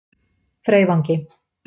Freyvangi